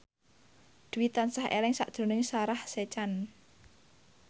Dwi tansah eling sakjroning Sarah Sechan